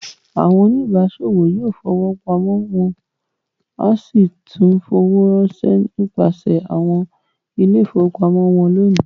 Àwọn oníbàáṣòwò yóò fowó pamọ́ wọn a sì tún fowó ránṣẹ́ nípasẹ̀ àwọn ilé-ìfowópamọ́sí wọn lónìí.